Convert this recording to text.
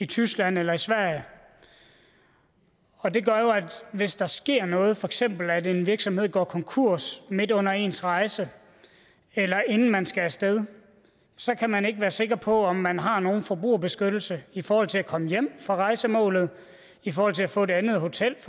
tyskland eller i sverige og det gør jo at hvis der sker noget for eksempel at en virksomhed går konkurs midt under ens rejse eller inden man skal af sted så kan man ikke være sikker på om man har nogen forbrugerbeskyttelse i forhold til at komme hjem fra rejsemålet i forhold til at få et andet hotel